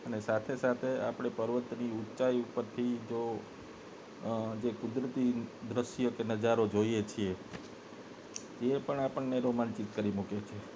અને સાથે સાથે આપને પર્વત ની ઉંચાઈ પર થી જો જે કુદરતી દ્રશ્ય કે નજરો જોઇ છે એ પણ આપને રોમાંચિત કરી મૂકે છે